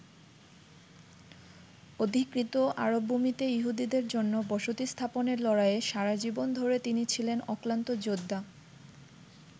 অধিকৃত আরবভূমিতে ইহুদীদের জন্যে বসতি স্থাপনের লড়াইয়ে সারা জীবন ধরে তিনি ছিলেন অক্লান্ত যোদ্ধা।